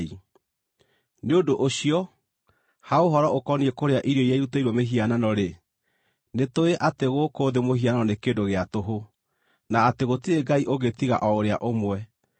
Nĩ ũndũ ũcio, ha ũhoro ũkoniĩ kũrĩa irio iria irutĩirwo mĩhianano-rĩ, nĩtũũĩ atĩ gũkũ thĩ mũhianano nĩ kĩndũ gĩa tũhũ, na atĩ gũtirĩ Ngai ũngĩ tiga o ũrĩa ũmwe.